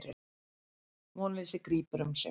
Vonleysið grípur um sig.